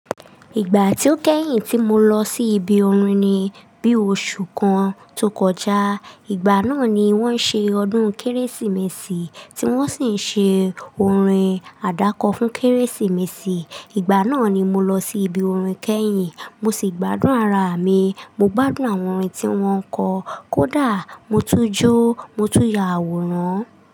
Ìgbà tí ó kẹ́yìn tí mo lọ sí ibi orin ni bí oṣù kan tó kọjá. Ìgbà náà ni wón ń ṣe ọdún Kérésìmesì tí wón sì ń ṣe orin àdákọ fún Kérésìmesì. Ìgbà náà ni mo lọ sí ibi orin kẹ́yìn mo sì gbádùn ara mi. Mo gbádùn àwọn orin tí wón kọ, kó dà mọ́ tún jó mọ́ tún yàwòrán.